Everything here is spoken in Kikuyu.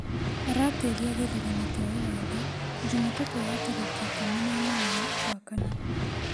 Arateria githurano kia ugathe jumatatu ya tareki ikumi na inyanya wa kana